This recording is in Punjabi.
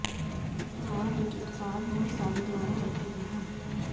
ਸਵਾਲ ਵਿੱਚ ਉਤਪਾਦ ਬਹੁਤ ਸਾਰੇ ਦੁਆਰਾ ਵਰਤੇ ਗਏ ਹਨ